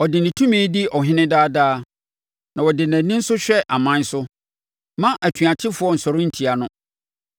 Ɔde ne tumi di ɔhene daa daa, na ɔde nʼani nso hwɛ aman so. Mma atuatefoɔ nsɔre ntia no.